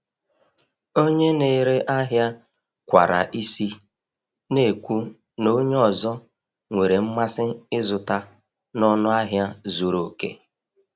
Onye na-ere ahịa kwara isi, na-ekwu na onye ọzọ nwere mmasị ịzụta n’ọnụ ahịa zuru oke.